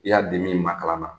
I y'a di min ma kalan na,